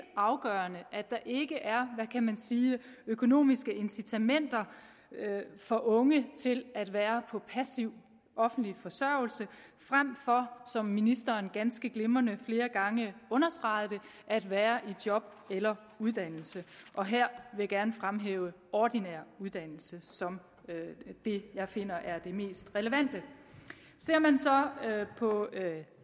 afgørende at man sige økonomiske incitamenter for unge til at være på passiv offentlig forsørgelse frem for som ministeren ganske glimrende flere gange understregede det at være i job eller uddannelse og her vil jeg gerne fremhæve ordinær uddannelse som det jeg finder er det mest relevante ser man så på